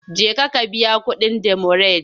Jeka ka biya kuɗin demurej!